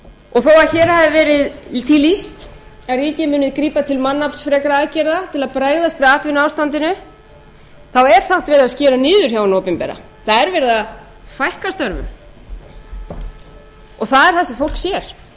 og þó hér hafi því verið lýst að ríkið muni grípa til mannaflsfrekra aðgerða til að bregðast við atvinnuástandinu þá er samt verið að skera niður hjá hinu opinbera það er verið að fækka störfum og það er það sem fólk sér það heyrir